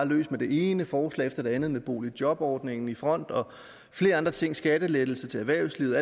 løs med det ene forslag efter det andet med boligjobordningen i front og flere andre ting skattelettelser til erhvervslivet